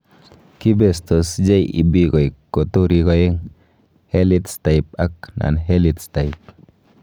Kibestos JEB koik roturik oeng': Herlitz type ak Non Herlitz type.